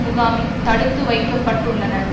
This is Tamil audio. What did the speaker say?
முகாமில் தடுத்து வைக்க பட்டுள்ளனர்